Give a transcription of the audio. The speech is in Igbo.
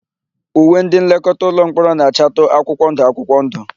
Uwe ndịnlekọta ụlọmkpọrọ na-achatụ akwụkwọndụ akwụkwọndụ.